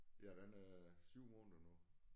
Ja den er 7 måneder nu